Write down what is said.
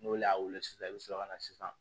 N'olu y'a wele sisan i bɛ sɔrɔ ka na sisan